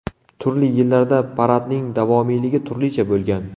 Turli yillarda paradning davomiyligi turlicha bo‘lgan.